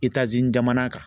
jamana kan.